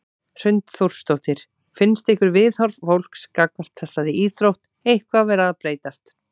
Hrund Þórsdóttir: Finnst ykkur viðhorf fólks gagnvart þessari íþrótt eitthvað vera að breytast?